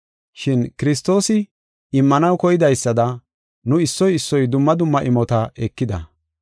Shin Kiristoosi immanaw koydaysada nu issoy issoy dumma dumma imota ekida.